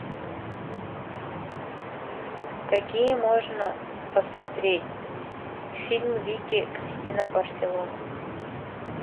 какие можно посмотреть фильм вики кристина барселона